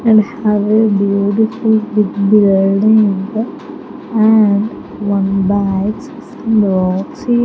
And have a beautiful big building and one bags --